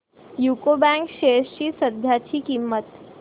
UCO bank shares ची सध्याची किंमत